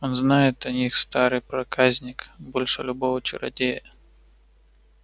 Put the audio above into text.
он знает о них старый проказник больше любого чародея